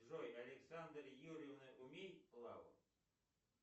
джой александра юрьевна умеет плавать